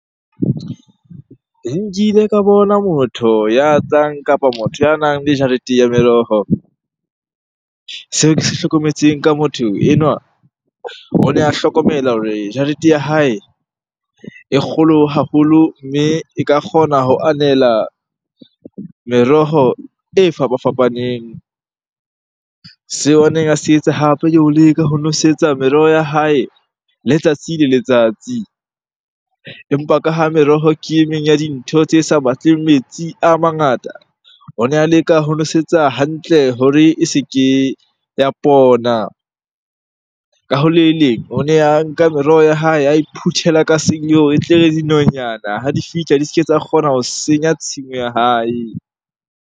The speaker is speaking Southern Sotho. Nkile ka bona motho ya kapa motho ya nang le jarete ya meroho. Seo ke se hlokometseng ka motho enwa, o ne a hlokomela hore jarete ya hae e kgolo haholo mme e ka kgona ho anela meroho e fapafapaneng. Seo a neng a se etsa hape ke ho leka ho nosetsa meroho ya hae letsatsi le letsatsi. Empa ka ha meroho ke e meng ya dintho tse sa batleng metsi a mangata, o ne a leka ho nosetsa hantle hore e se ke ya pona. Ka ho le leng, o ne a nka meroho ya hae ae phuthela ka e tle re dinonyana ha di fihla, di se ke tsa kgona ho senya tshimo ya hae.